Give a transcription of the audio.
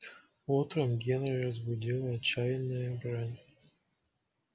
утром генри разбудила отчаянная брань